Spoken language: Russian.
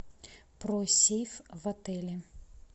про сейф в отеле